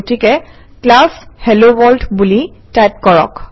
গতিকে class hello world বুলি type কৰক